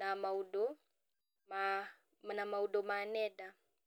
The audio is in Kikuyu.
na maũndũ ma na maũndũ ma nenda.